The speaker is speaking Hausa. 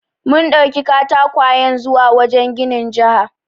Mun ɗauki katakwayen zuwa wajen ginin jiha.